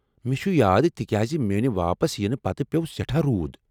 مےٚ چھٗ یاد، تہِ کیٛاز میٛانہ واپس ینہ پتہٕ پیوٚو سٮ۪ٹھاہ روُد ۔